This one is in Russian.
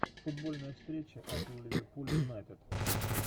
футбольная встреча апл ливерпуль юнайтед